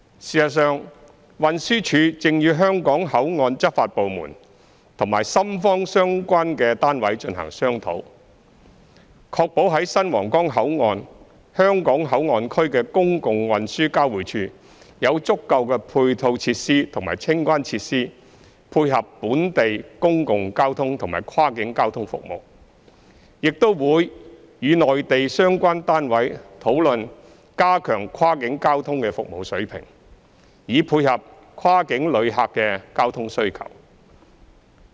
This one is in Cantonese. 事實上，運輸署正與香港口岸執法部門和深方相關單位進行商討，確保在新皇崗口岸香港口岸區的公共運輸交匯處有足夠的配套設施和清關設施配合本地公共交通和跨境交通服務，亦會與內地相關單位討論加強跨境交通的服務水平，以配合跨境旅客的交通需求。